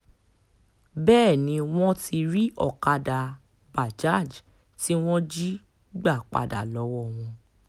bẹ́ẹ̀ ni wọ́n ti rí ọ̀kadà bajaj tí wọ́n jí gbà padà lọ́wọ́ wọn